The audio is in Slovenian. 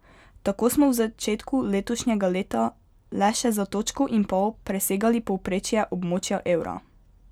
Tako smo v začetku letošnjega leta le še za točko in pol presegali povprečje območja evra.